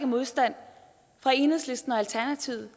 modstand fra enhedslisten og alternativet